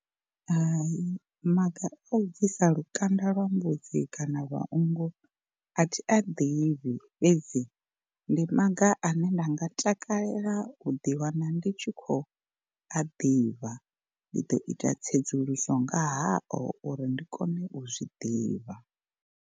Hai maga a u bvisa lukanda lwa mbudzi kana nngu a thi a ḓivhi fhedzi, ndi maga ane nda nga takalela u ḓi wana ndi tshi khou a ḓivha ndi ḓo ita tsedzuluso nga hao uri ndi kone u zwi ḓivha.